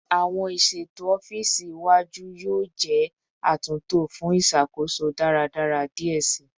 Awọn iṣeto ọfiisi iwaju yoo jẹ atunto fun iṣakoso daradara diẹ sii